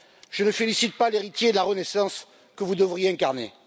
Je ne félicite pas l'héritier de la Renaissance que vous devriez incarner.